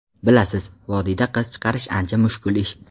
Bilasiz, vodiyda qiz chiqarish ancha mushkul ish.